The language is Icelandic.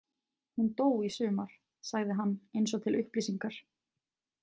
Hún dó í sumar, sagði hann eins og til upplýsingar.